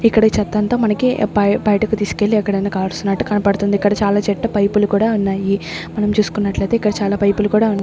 ఇక్కడ ఈ చెత్తంతా మనకి బయ్ బయటకు తీసుకెళ్లి ఎక్కడైనా కాలుస్తున్నట్టు కనపడుతుంది ఇక్కడ చాలా చెట్టు పైపు లు కూడా ఉన్నాయి మనం చుస్కున్నట్లు అయితే ఇక్కడ చాలా పైపు లు కూడా ఉన్ --